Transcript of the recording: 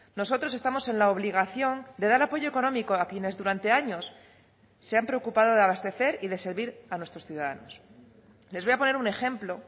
nosotros estamos en la obligación de dar apoyo económico a quienes durante años se han preocupado de abastecer y de servir a nuestros ciudadanos les voy a poner un ejemplo